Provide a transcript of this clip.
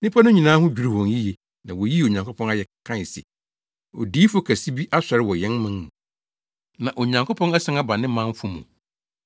Nnipa no nyinaa ho dwiriw wɔn yiye na woyii Onyankopɔn ayɛ kae se, “Odiyifo kɛse bi asɔre wɔ yɛn mu, na Onyankopɔn asian aba ne manfo mu.”